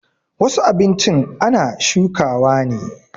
Wasu abinchin ana shukawa ne